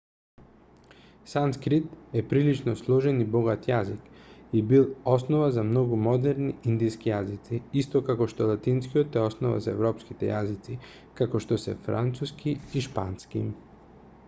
санскрит е прилично сложен и богат јазик и бил основа за многу модерни индиски јазици исто како што латинскиот е основа за европските јазици како што се француски и шпански